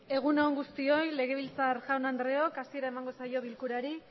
egun on guztioi osoko bilkurari hasiera emango diogu esisere bakoitza suen eserlekuetan